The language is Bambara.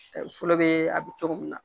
Fɔlɔ bɛ a bɛ cogo min na